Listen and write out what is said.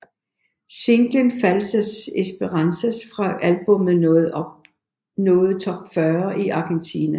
Singlen Falsas Esperanzas fra albummet nåede top 40 i Argentina